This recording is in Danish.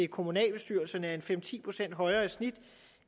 kommunalbestyrelserne er fem ti procent højere i snit